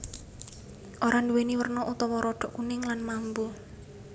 Ora nduwèni werna utawa rodok kuning lan mambu